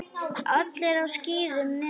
Allir á skíðum nema þú.